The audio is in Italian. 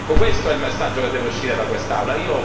Questo è il messaggio che deve uscire da quest'Aula.